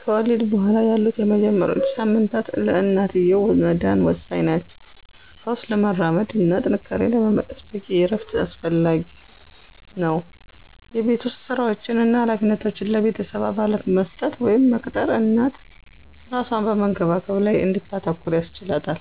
ከወሊድ በኋላ ያሉት የመጀመሪያዎቹ ሳምንታት ለእናትየው መዳን ወሳኝ ናቸው። ፈውስ ለማራመድ እና ጥንካሬን ለመመለስ በቂ እረፍት አስፈላጊ ነው። የቤት ውስጥ ሥራዎችን እና ኃላፊነቶችን ለቤተሰብ አባላት መስጠት ወይም መቅጠር እናት እራሷን በመንከባከብ ላይ እንድታተኩር ያስችላታል።